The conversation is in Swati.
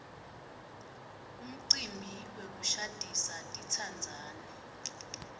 umcimbi wokushadisa titsandzani